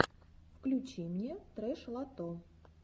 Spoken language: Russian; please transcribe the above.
включи мне трэш лото